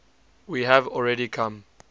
we have already come